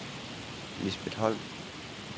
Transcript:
Lisbeth Holm